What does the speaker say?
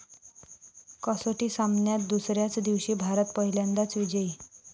कसोटी सामन्यात दुसऱ्याच दिवशी भारत पहिल्यांदाच विजयी